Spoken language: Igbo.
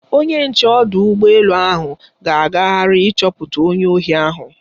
Onye nche ọdụ ụgbọ elu ahụ ga-agagharị ịchọpụta onye ohi ahụ.